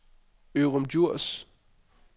Ørum Djurs